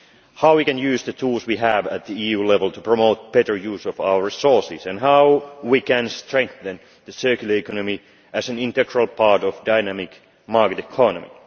how we can use the tools we have at EU level to promote better use of our resources and how we can strengthen the circular economy as an integral part of the dynamic market economy.